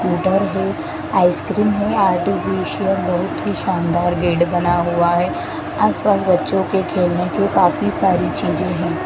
Ice cream है। Artificial बहुत ही शानदार गेट बना हुआ है। आसपास बच्चों के खेलने के काफी सारे चीजें है।